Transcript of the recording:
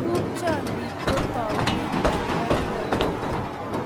Tupchondit ko taunet ab boiboyet